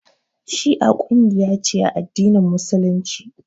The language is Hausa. Shi'a kungiya ce a addinin Musulunci.